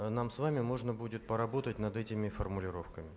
нам с вами можно будет поработать над этими формулировками